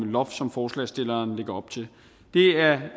loft som forslagsstillerne lægger op til det er